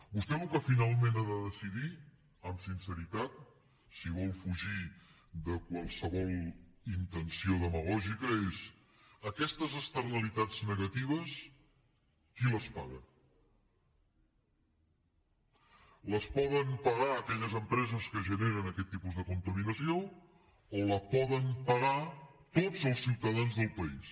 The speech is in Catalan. vostè el que finalment ha de decidir amb sinceritat si vol fugir de qualsevol intenció demagògica és aquestes externalitats negatives qui les paga les poden pagar aquelles empreses que generen aquest tipus de contaminació o les poden pagar tots els ciutadans del país